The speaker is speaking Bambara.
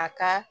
A ka